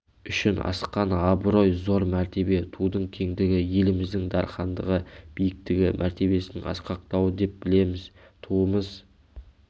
үшін асқан абырой зор мәртебе тудың кеңдігі еліміздің дархандығы биіктігі мәртебесінің асқақтауы деп білеміз туымыз